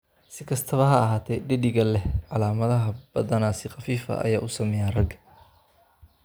Si kastaba ha ahaatee, dheddigga leh calaamadaha badanaa si khafiif ah ayay u saameeyaan ragga.